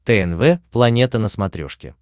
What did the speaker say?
тнв планета на смотрешке